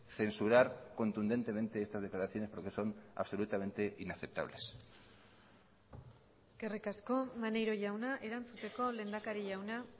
censurar contundentemente estas declaraciones porque son absolutamente inaceptables eskerrik asko maneiro jauna erantzuteko lehendakari jauna